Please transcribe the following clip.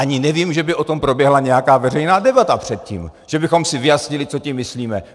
Ani nevím, že by o tom proběhla nějaká veřejná debata předtím, že bychom si vyjasnili, co tím myslíme.